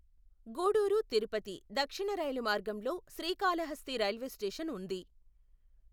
గూడూరు తిరుపతి దక్షిణ రైలు మార్గంలో శ్రీకాళహస్తి రైల్వే స్టేషన్ ఉంది.